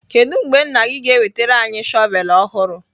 Kedu mgbe nna ga-enwetara anyị shọvel ọhụrụ?